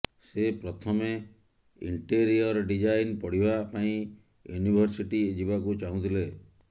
ସେ ପ୍ରଥମେ interior design ପଢ଼ିବା ପାଇଁ ୟୁନିଭର୍ସିଟି ଯିବାକୁ ଚାହୁଁଥିଲେ